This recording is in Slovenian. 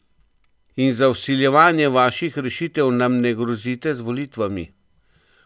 In za vsiljevanje vaših rešitev nam ne grozite z volitvami!